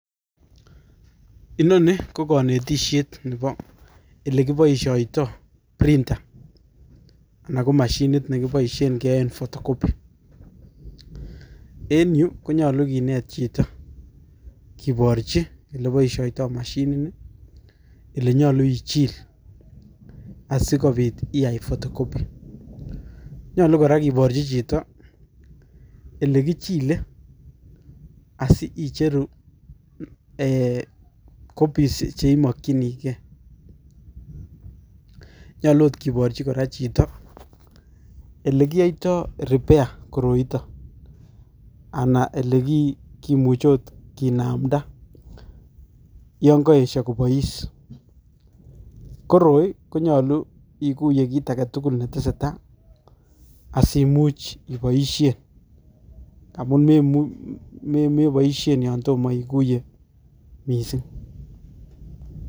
Inoni ko kanetishet nebo ele kiboishoto printer anan ko mashinit negiboisien ngeaen photocopy. En yu konyolu kineet chito, kiborchi ole kiboisioitoi mashinini ele nyolu ichil asigobiit iyai photocopy. Nyolu gora kiborchi chito ele kichile asiicheru copies cheimokchinigei. Nyolu agot kiborchi gora chito ele kiyoitoi repair koroitok ana ole ki kimuchiot kinamda yon koesio kobois . Koroi konyalu iguiye kiit age tugul neteseta asimuch iboisien amun memu meboisien yo tomo igiuiye missing.